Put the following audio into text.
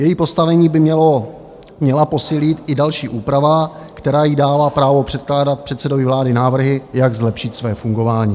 Její postavení by měla posílit i další úprava, která jí dává právo předkládat předsedovi vlády návrhy, jak zlepšit své fungování.